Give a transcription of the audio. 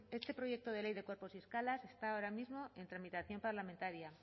este proyecto de ley de cuerpos y escalas está ahora mismo en tramitación parlamentaria